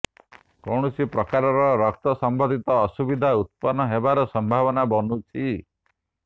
କୌଣସି ପ୍ରକାରର ରକ୍ତ ସମ୍ବନ୍ଧିତ ଅସୁବିଧା ଉତ୍ପନ୍ନ ହେବାର ସମ୍ଭାବନା ବନୁଛି